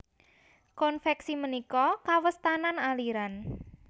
Konvèksi ménika kawèstanan aliran